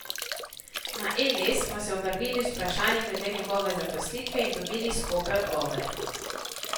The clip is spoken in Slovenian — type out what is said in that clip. Na Eles smo se obrnili z vprašanji glede njegove zaposlitve in dobili skope odgovore.